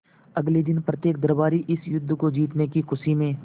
अगले दिन प्रत्येक दरबारी इस युद्ध को जीतने की खुशी में